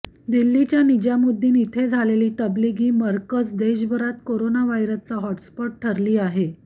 दिल्लीच्या निजामुद्दीन इथे झालेली तबलिगी मरकज देशाभरात कोरोनाव्हायरचा हॉटस्पॉट ठरली आहे